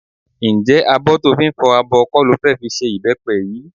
Ǹjẹ́ abọ́ tó fi ń fọ abọ kọ́ ló fẹ́ fi ṣe ìbẹ́pẹ yìí?